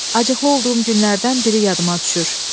Acıqlı olduğum günlərdən biri yadıma düşür.